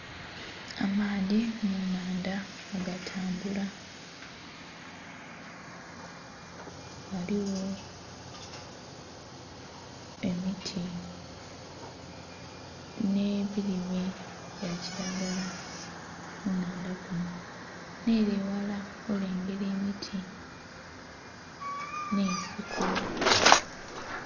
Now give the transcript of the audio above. Amaadhi mu nnhandha nga gatambula, ghaligho emiti nh'ebilime bya kilagala ku nnhandha kunho, nh'ele eghala olengera emiti nh'ensiko.